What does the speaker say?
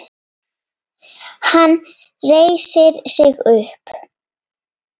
Hann reisir sig upp.